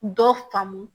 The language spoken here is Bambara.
Dɔ faamu